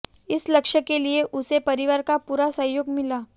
इस लक्ष्य के लिये उसे परिवार का पूरा सहयोग मिला